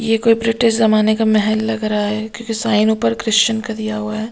यह कोई ब्रिटिश जमाने का महल लग रहा है क्योंकि साइन ऊपर क्रिश्चियन का दिया हुआ है।